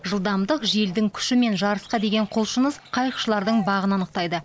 жылдамдық желдің күші мен жарысқа деген құлшыныс қайықшылардың бағын анықтайды